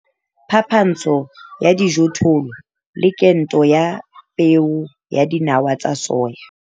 Phapantsho ya dijothollo le kento ya peo ya dinawa tsa soya.